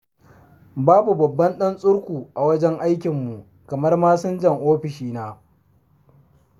Babu babban ɗan tsurku a wajen aikinmu kamar masinjan ofishina.